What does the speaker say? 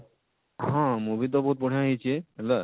ହଁ movie ତ ବହୁତ ବଢିଆ ହେଇଛେ ହେଲା